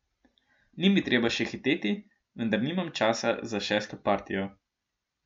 Ni mi treba še hiteti, vendar nimam časa za šesto partijo.